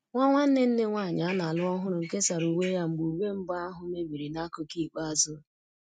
Nwa nwanne nne nwanyị a na-alụ ọhụrụ kesara uwe ya mgbe uwe mbụ ahụ mebiri n'akụkụ ikpeazụ